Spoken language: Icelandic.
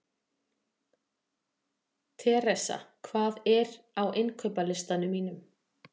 Theresa, hvað er á innkaupalistanum mínum?